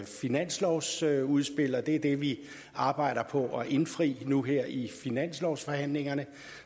finanslovsudspil og det er det vi arbejder på at indfri nu her i finanslovsforhandlingerne